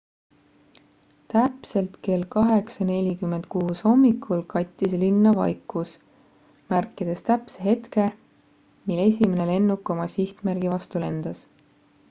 täpselt kell 8.46 hommikul kattis linna vaikus märkides täpse hetke mil esimene lennuk oma sihtmärgi vastu lendas